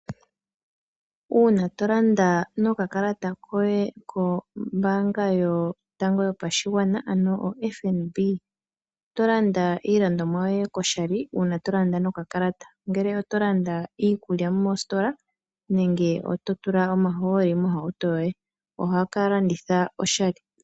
Uuna to landa nokakalata koye kombaanga yotango yopashigwana ano oFNB, oto landa iilandomwa yoye ko shali uuna to landa nokakalata, ngele oto landa iikulya moositola nenge oto tula omahooli mohauto yoye. Ohaka landitha oshali.